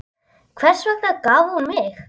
Hvers vegna gaf hún mig?